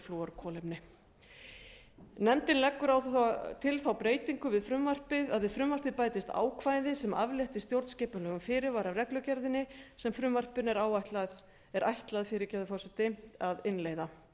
perflúorkolefni eða fjölflúorkolefni nefndin leggur til þá breytingu að við frumvarpið bætist ákvæði sem aflétti stjórnskipulegum fyrirvara af reglugerðinni sem frumvarpinu er ætlað að innleiða